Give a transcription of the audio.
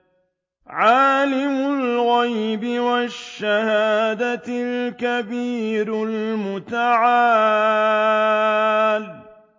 عَالِمُ الْغَيْبِ وَالشَّهَادَةِ الْكَبِيرُ الْمُتَعَالِ